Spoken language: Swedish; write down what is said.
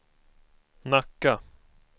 Nacka